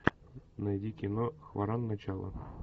найди кино хваран начало